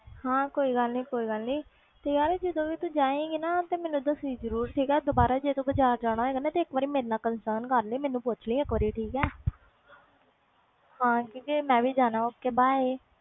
ਹੈ ਕੋਈ ਗੱਲ ਨਹੀਂ ਯਾਰ ਜਾਂਦੀ ਵੀ ਤੂੰ ਜਾਏ ਗੀ ਮੈਨੂੰ ਦੱਸੀ ਜਰੂਰ ਜਦੋ ਬਾਜ਼ਾਰ ਜਾਏਗੀ ਇਕ ਵਾਰ ਮੇਰੇ ਨਾਲ concern ਕਰ ਲਈ ਮੈਨੂੰ ਪੁੱਛ ਲਈ ਠੀਕ ਆ ਚਲ ਮੈਂ ਵੀ ਜਾਣਾ ok bye